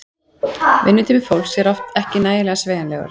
Vinnutími fólks er oft ekki nægilega sveigjanlegur.